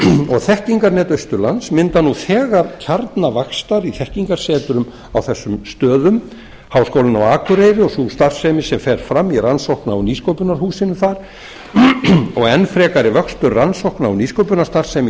og þekkingarnet austurlands mynda nú þegar kjarna vaxtar í þekkingarsetrum á þessum stöðum háskólinn á akureyri og sú starfsemin sem fer fram í rannsókna og nýsköpunarhúsinu þar og enn frekari vöxtur rannsókna og nýsköpunarstarfsemi í